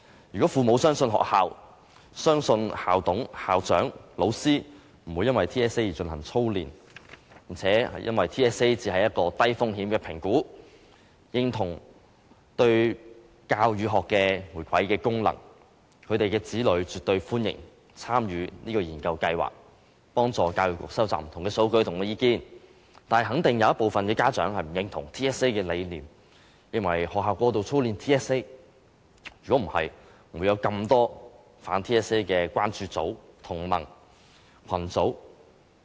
如果父母相信學校，相信校董、校長、老師不會因為 TSA 而進行操練，並認為 TSA 只是一個低風險的評估，認同其對教與學的回饋和功能，他們會絕對歡迎子女參與這項研究計劃，幫助教育局收集不同的數據及意見，但肯定有一部分家長不認同 TSA 的理念，認為學校過度操練 TSA， 否則不會有這麼多反 TSA 的關注組、同盟和群組。